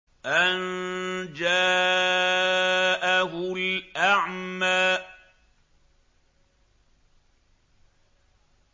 أَن جَاءَهُ الْأَعْمَىٰ